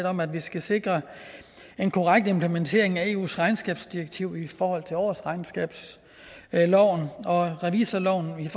om at vi skal sikre en korrekt implementering af eus regnskabsdirektiv i forhold til årsregnskabsloven og revisorloven